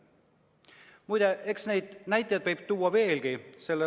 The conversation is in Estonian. Muide, eks neid näiteid võib tuua veelgi.